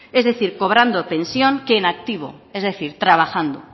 es decir cobrando pensión que en activo es decir trabajando